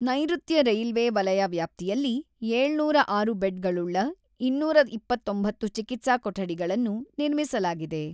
ನೈರುತ್ಯ ರೈಲ್ವೆ ವಲಯ ವ್ಯಾಪ್ತಿಯಲ್ಲಿ ಏಳುನೂರಾ ಆರು ಬೆಡ್‌ಗಳುಳ್ಳ ಇನ್ನೂರ ಇಪ್ಪತ್ತೊಂಬತ್ತು ಚಿಕಿತ್ಸಾ ಕೊಠಡಿಗಳನ್ನು ನಿರ್ಮಿಸಲಾಗಿದೆ.